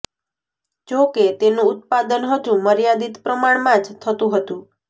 જોકે તેનું ઉત્પાદન હજુ મર્યાદિત પ્રમાણમાં જ થતું હતું